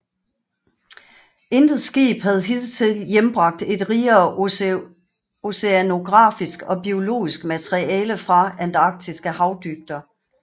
Intet skib havde hidtil hjembragt et rigere oceanografisk og biologisk materiale fra antarktiske havdybder